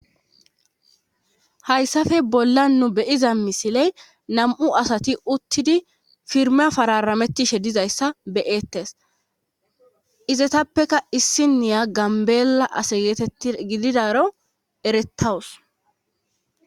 Hayssappe bolla nu be'iza misiley nam7u asati uttidi firme fararametishe dizayssa beyettes izetappeka issiniya gambeela ase geetetti gididaro erettawus.